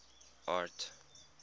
art